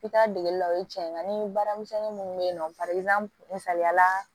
I taa degeli la o ye tiɲɛ ye nka ni baara misɛnnin minnu bɛ yen nɔ misaliya la